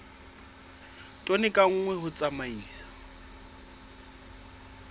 tone ka nngwe ho tsamaisa